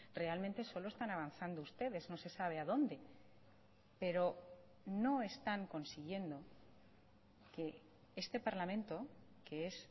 realmente solo están avanzando ustedes no se sabe a dónde pero no están consiguiendo que este parlamento que es